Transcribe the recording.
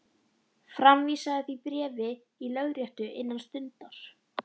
Framvísaðu því bréfi í lögréttu innan stundar.